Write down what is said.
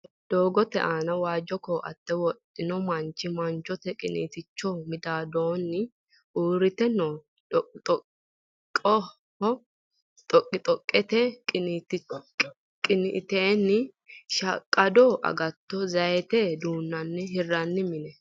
Doogote aana waajjo koaatte wodhino manchi, manchoho qiniiticho midaadoonni uurite noo dhoqidhoqqe, dhoqidhoqqete qiniteenni shaqqado agattonna zaaytete duunonna hirranni mine.